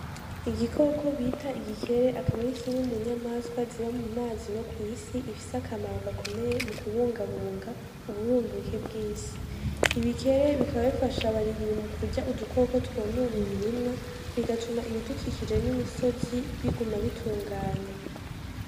Igikoko bita igikere akaba ari kimwe munyamaswa ziba mumazi no kwisi ifise akamaro gakomeye mu kubungabunga uburumbuke bwisi, ibikere bikaba bifasha abarimyi mukurya udukoko twonona imirima bigatuma ibidukikije n'imisozi biguma bitunganye.